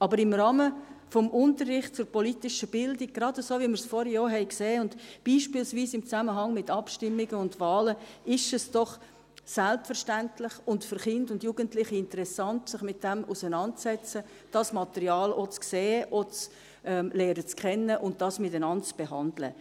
Aber im Rahmen des Unterrichts zur politischen Bildung, gerade so, wie wir es vorhin gesehen haben, und beispielsweise im Zusammenhang mit Abstimmungen und Wahlen, ist es doch selbstverständlich und für Kinder und Jugendliche interessant, sich damit auseinanderzusetzen, das Material auch zu sehen, kennenzulernen und gemeinsam zu behandeln.